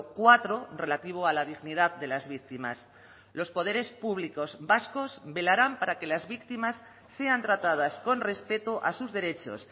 cuatro relativo a la dignidad de las víctimas los poderes públicos vascos velarán para que las víctimas sean tratadas con respeto a sus derechos